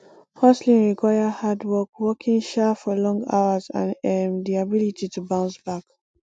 hustling require hard work working um for long hours and um di ability to bounce back